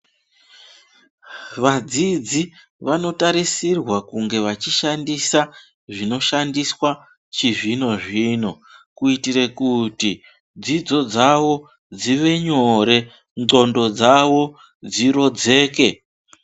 Vadzidzi vanotarisirwa kunge vachishandisa zvinoshandiswa chizvino-zvino, kuitire kuti dzidzo dzavo dzive nyore, ndxondo dzavo dzirodzeke.